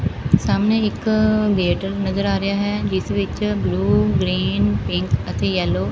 ਸਾਹਮਣੇ ਇੱਕ ਗੇਟ ਨਜ਼ਰ ਆ ਰਿਹਾ ਹੈ ਜਿਸ ਵਿੱਚ ਬਲੂ ਗ੍ਰੀਨ ਪਿੰਕ ਅਤੇ ਯੈਲੋ --